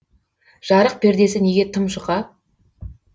жарық пердесі неге тым жұқа